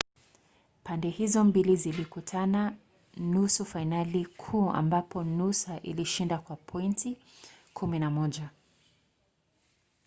pande hizo mbili zilikutana katika nusu fainali kuu ambapo noosa ilishinda kwa pointi 11